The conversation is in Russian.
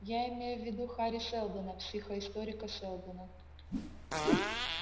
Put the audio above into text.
я имею в виду хари сэлдона психоисторика сэлдона